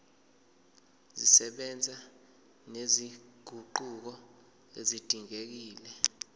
zisebenza nezinguquko ezidingekile